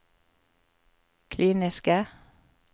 kliniske